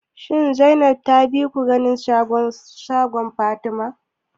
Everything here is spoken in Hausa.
Shin Zainab ta bi ku ganin sabon shagon Fatima?